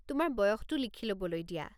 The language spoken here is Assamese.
তোমাৰ বয়সটো লিখি ল'বলৈ দিয়া।